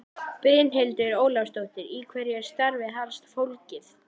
Brynhildur Ólafsdóttir: Í hverju er starfið helst fólgið?